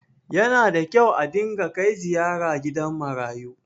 yana da kyau a dinga Kai ziyara gidan marayu